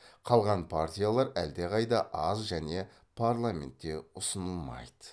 қалған партиялар әлдеқайда аз және парламентте ұсынылмайды